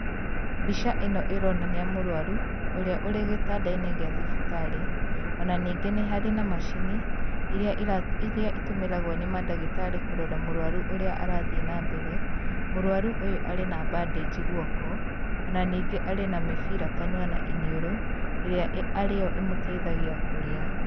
Mbica ĩno ĩronania mũrwaru, ũrĩa ũrĩ gĩtandaine gĩa thibitarĩ, ona ningĩ nĩ harĩ na macini iria, ĩra ĩtũmĩragwo nĩ mandagĩtarĩ, kũrora mũrwaru ũrĩa arathiĩ na mbere, mũrwaru ũyũ arĩ na bandage guoko, ona ningĩ arĩ na mĩbira kanua na iniũru, ĩrĩa arĩo ĩĩ mũteithagia kũrĩa